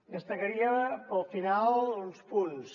destacaria pel final uns punts